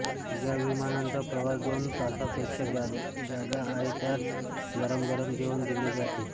ज्या विमानांचा प्रवास दोन तासांपेक्षा जादा आहे त्यात गरम गरम जेवण दिले जाते